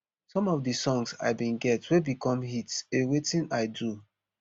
some of di songs i bin get wey become hits a wetin i do